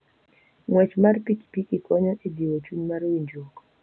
Ng'wech mar pikipiki konyo e jiwo chuny mar winjruok.